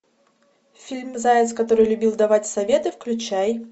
фильм заяц который любил давать советы включай